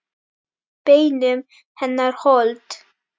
Beinum hennar hold.